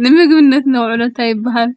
ንምግብነት ነውዕሎ እንታይ ይብሃል?